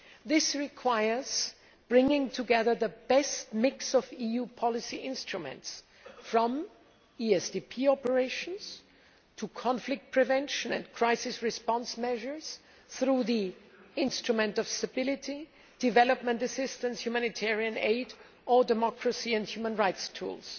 This requires bringing together the best mix of EU policy instruments, from ESDP operations to conflict prevention and crisis response measures through the Instrument for Stability, development assistance, humanitarian aid, or democracy and human rights tools.